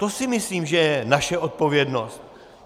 To si myslím, že je naše odpovědnost.